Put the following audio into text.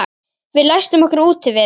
Við læstum okkur úti við